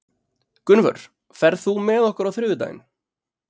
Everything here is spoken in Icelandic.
Gunnvör, ferð þú með okkur á þriðjudaginn?